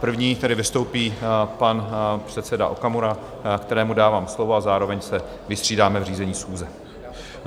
První tedy vystoupí pan předseda Okamura, kterému dávám slovo, a zároveň se vystřídáme v řízení schůze.